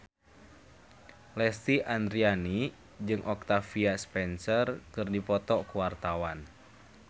Lesti Andryani jeung Octavia Spencer keur dipoto ku wartawan